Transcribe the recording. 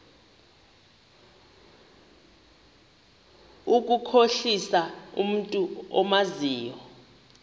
ukukhohlisa umntu omazi